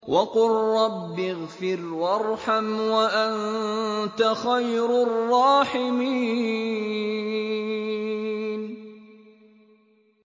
وَقُل رَّبِّ اغْفِرْ وَارْحَمْ وَأَنتَ خَيْرُ الرَّاحِمِينَ